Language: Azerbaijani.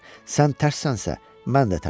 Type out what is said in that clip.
Sən tərssənsə, mən də tərssəm.